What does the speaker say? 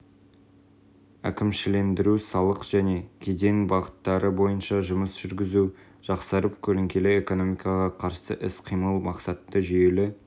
әкімшілендіру салық және кеден бағыттары бойынша жұмыс жүргізу жақсарып көлеңкелі экономикаға қарсы іс қимыл мақсатты жүйелі